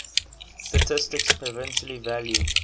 statistics provisionally valued